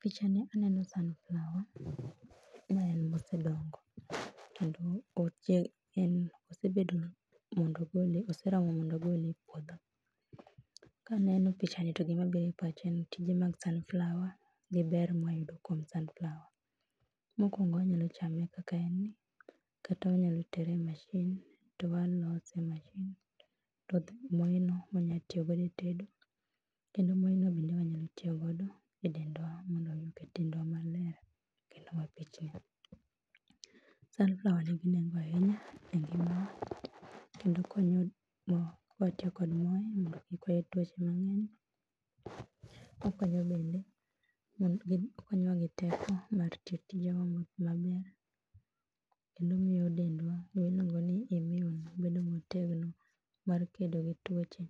picha ni aneno sunflower ma en mose dongo kendo en osebedo oseromo mondo ogole e puodho. Ka aneno pichani to gima biro e pacha en tije mag sunflower gi ber ma wayudo kuom sunflower. Mokuongo wanyalo chame kaka en ni, kata wanyalo tere e mashin to walose to moeno wanyalo tiyo godo e tedo kendo moreno wanyalo tiyo godo e dendwa mondo oket dendwa maler kendo mapichni. Sunflower nigi nengo ahinya kendo konyo ka watiyo kod more mondo kik wayud tuoche mang'eny okonyo bende, okonyo wa gi teko mar tiyo tije mang'eny kendo omiyo dendwa gima iluongo ni [cs[immune wabedo motegno mar kedo gi tuoche